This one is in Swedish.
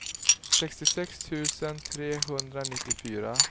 sextiosex tusen trehundranittiofyra